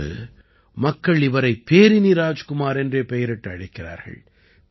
இன்று மக்கள் இவரை பேரினி ராஜ்குமார் என்றே பெயரிட்டு அழைக்கிறார்கள்